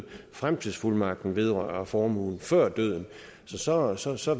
fremtidsfuldmagten vedrører formuen før døden så så så